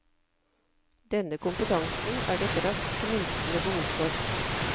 Denne kompetansen er det et raskt minskende behov for.